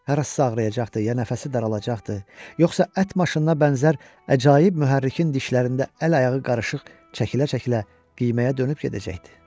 Harasa ağrıyacaqdı, ya nəfəsi daralacaqdı, yoxsa ət maşınına bənzər əcaib mühərrikin dişlərində əl-ayağı qarışıq çəkilə-çəkilə qiyməyə dönüb gedəcəkdi?